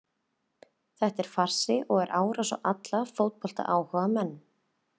Þetta er farsi og er árás á alla fótboltaáhugamenn.